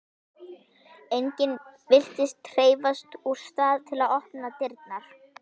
Enginn virðist hreyfast úr stað til að opna dyrnar.